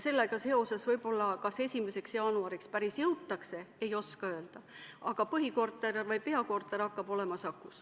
Sellega seoses kas 1. jaanuariks päris jõutakse, ei oska öelda, aga peakorter hakkab olema Sakus.